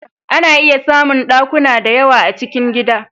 A na iya samun ɗakuna da yawa a cikin gida